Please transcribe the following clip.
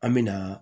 An me na